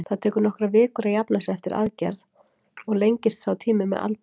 Það tekur nokkrar vikur að jafna sig eftir aðgerð og lengist sá tími með aldri.